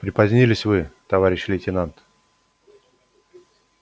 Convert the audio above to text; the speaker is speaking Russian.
припозднились вы товарищ лейтенант